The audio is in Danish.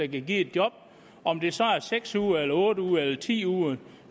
give et job om det så er seks uger otte uger eller ti uger er